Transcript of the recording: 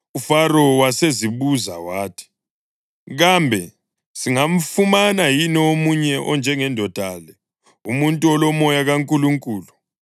UFaro wasezibuza wathi, “Kambe singamfumana yini omunye onjengendoda le, umuntu olomoya kaNkulunkulu?”